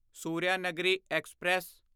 Suryanagari express